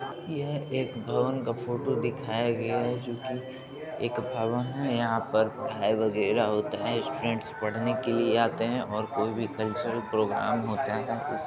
यह एक भवन का फोटो दिखाया गया है जो कि एक भवन है यहां पर पढ़ाई वगेरा होता है स्टूडेंट्स पढ़ने के लिए आते है और कोई भी क्लचर प्रोग्राम होता है इस --